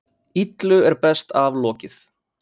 Illu er best aflokið.